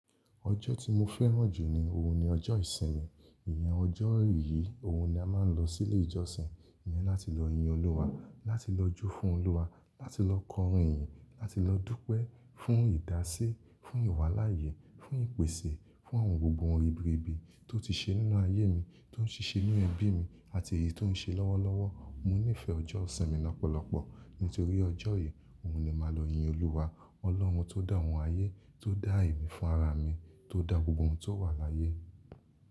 Ọjọ́ tí mo fẹ́ràn jù ní òun ni ọjọ́ ìṣinmì. Ìyẹn ọjọ́ yìí òun ni a máa ń lọ sí ilé ìjọsin, ìyẹn láti lọ yin Olúwa, láti lọ jó fún Olúwa, láti lọ kọrin iyìn, láti lọ dúpẹ́ fún ìdásí, fún ìwáláyé, fún ìpèsè, fún àwọn gbogbo nǹkan ribíribí tó ti ṣe nínú ayé mi, tó ń ṣíṣe nínú ẹbí mi àti èyí tó ń ṣe lọ́wọ́lọ́wọ́. Mo nífẹ̀ẹ́ ọjọ́ ìṣinmì lọ́pọ̀lọpọ̀. Nítorí ọjọ́ yìí òhun ni màá lọ yin Olúwa, Ọlọ́run tó dá àwọn ayé, tó dá èmí fún ara mi, tó dá gbogbo ohun tó wà láyé.